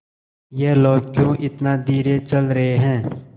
ये लोग क्यों इतना धीरे चल रहे हैं